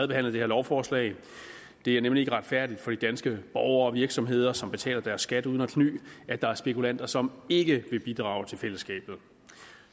det her lovforslag det er nemlig ikke retfærdigt for de danske borgere og virksomheder som betaler deres skat uden at kny at der er spekulanter som ikke vil bidrage til fællesskabet